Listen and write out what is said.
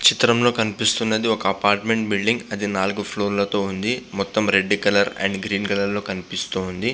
చిత్రంలో కనిపిస్తున్నది ఒక అపార్ట్మెంట్ బిల్డింగ్ అది నాలుగు ఫ్లోర్ల తో ఉంది. మొత్తం red colour and green colour లో కనిపిస్తోంది.